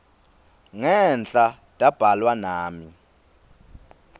ngenhla tabhalwa nami